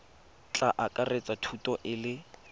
tla akaretsa thuto e le